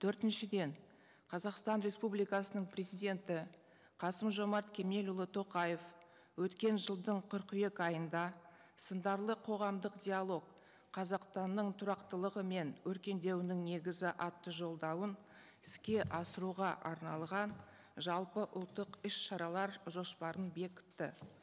төртіншіден қазақстан республикасының президенті қасым жомарт кемелұлы тоқаев өткен жылдың қыркүйек айында сындарлы қоғамдық диалог қазақстанның тұрақтылығы мен өркендеуінің негізі атты жолдауын іске асыруға арналған жалпыұлттық іс шаралар жоспарын бекітті